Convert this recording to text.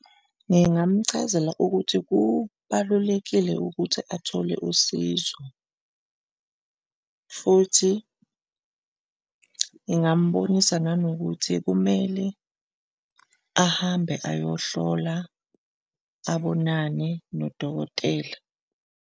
Ngingamchazela ukuthi kubalulekile ukuthi athole usizo futhi ngingambonisa nanokuthi kumele ahambe ayohlola abonane nodokotela.